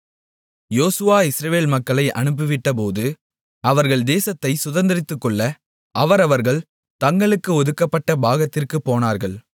யோசுவா இஸ்ரவேல் மக்களை அனுப்பிவிட்டபோது அவர்கள் தேசத்தைச் சுதந்தரித்துக்கொள்ள அவரவர்கள் தங்களுக்கு ஒதுக்கப்பட்ட பாகத்திற்குப் போனார்கள்